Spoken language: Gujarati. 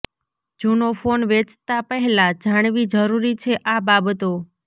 જુનો ફોન વેચતા પહેલા જાણવી જરૂરી છે આ બાબતો